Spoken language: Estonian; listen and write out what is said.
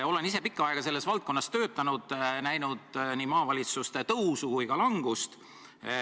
Olen ise pikka aega selles valdkonnas töötanud, näinud nii maavalitsuste tõusu kui ka langust.